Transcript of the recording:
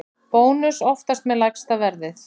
Bónus oftast með lægsta verðið